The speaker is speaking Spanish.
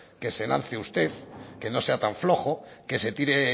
que se lance usted que no sea tan flojo que se tire